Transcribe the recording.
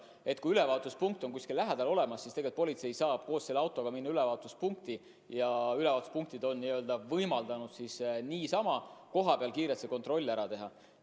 Nii et kui ülevaatuspunkt on kuskil lähedal olemas, siis politsei saab koos selle autoga minna ülevaatuspunkti ja seal on võimaldatud kohapeal kiirelt see kontroll ära teha.